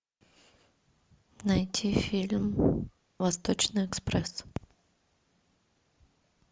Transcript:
найти фильм восточный экспресс